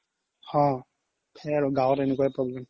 অ সেই আৰু গাওত এনেকুৱাই problem